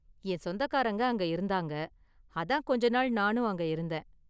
என் சொந்தக்காரங்க அங்க இருந்தாங்க, அதான் கொஞ்ச நாள் நானும் அங்க இருந்தேன்.